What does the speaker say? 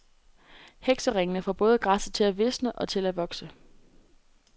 Hekseringene får både græsset til at visne og til at vokse.